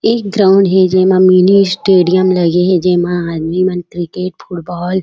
एक ग्राउंड हे जेमा मिनी स्टेडियम लगे हे जेमा आदमी मन क्रिकेट फुटबॉल --